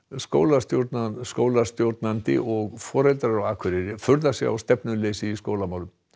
skólastjórnandi skólastjórnandi og foreldrar á Akureyri furða sig á stefnuleysi í skólamálum